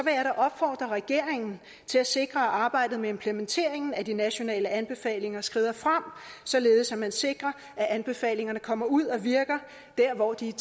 jeg da opfordre regeringen til at sikre at arbejdet med implementeringen af de nationale anbefalinger skrider frem således at man sikrer at anbefalingerne kommer ud og virker dér hvor de er